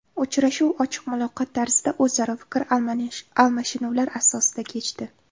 Uchrashuv ochiq muloqot tarzida o‘zaro fikr almashinuvlar asosida kechdi.